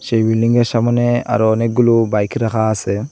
সেই বিল্ডিংয়ের সামোনে আরো অনেকগুলো বাইক রাখা আসে।